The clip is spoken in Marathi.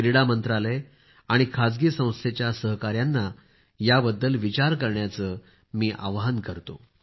क्रीडा मंत्रालय आणि खासगी संस्थेच्या सहकार्यांना याबद्दल विचार करण्याचे मी आवाहन करतो